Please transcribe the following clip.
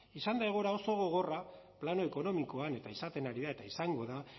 izan da egoera oso gogorra plano ekonomikoan eta izaten ari da eta izango da